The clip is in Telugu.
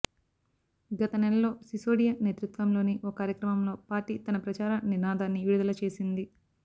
గత నెలలో సిసోడియా నేతృత్వంలోని ఓ కార్యక్రమంలో పార్టీ తన ప్రచార నినాదాన్ని విడుదల చేసింది